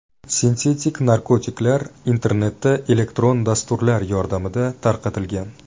Sintetik narkotiklar internetda elektron dasturlar yordamida tarqatilgan.